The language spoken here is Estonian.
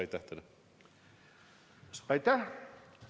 Aitäh!